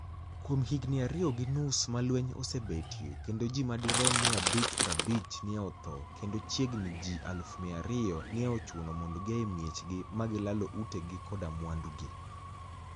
Kuom higinii ariyo gi nius ma lweniy osebetie, kenido ji madirom 550 ni e otho, kenido chiegnii ji 200,000 ni e ochuno monido gia e miechgi, ma gilalo utegi koda mwanidugi.